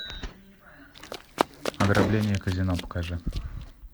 ограбление казино покажи